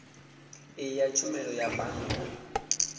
iyi ya tshumelo ya bannga